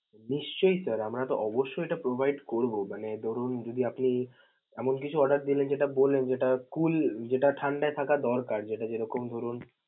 নিশ্চয়ই sir, আমরা তো অবশ্যই এটা provide করব, মানে ধরুন যদি আপনি এমন কিছু order দিলেন যেটা বললেন যেটা cooling যেটা ঠান্ডায় থাকা দরকার যেটা যেরকম ধরুন.